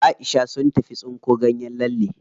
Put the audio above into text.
Aisha sun tafi tsinko ganyen lalle.